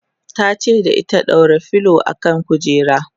tace da ita"ɗaura filo kan kujera!"